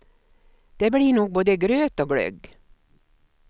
Det blir nog både gröt och glögg.